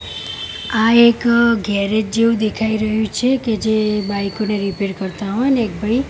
આ એક ગેરેજ જેવું દેખાય રહ્યુ છે કે જે બાઈકો ને રીપેર કરતા હોય ને એક ભાઈ--